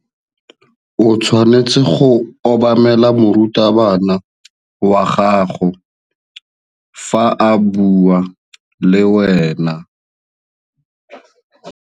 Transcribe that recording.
O tshwanetse go obamela morutabana wa gago fa a bua le wena.